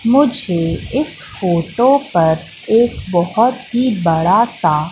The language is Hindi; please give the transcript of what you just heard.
मुझे इस फोटो पर एक बहोत ही बड़ा सा--